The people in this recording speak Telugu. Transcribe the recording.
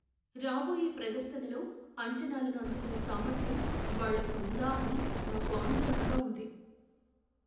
రాబోయే ప్రదర్శనలో అంచనాలను అందుకునే సామర్థ్యం వాళ్లకు ఉందా అని నాకు ఆందోళనగా ఉంది.